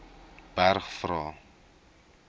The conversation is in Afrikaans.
berg vra